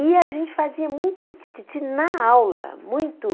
E a gente fazia muito tititi na aula, muito.